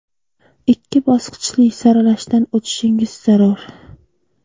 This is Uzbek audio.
ikki bosqichli saralashdan o‘tishingiz zarur.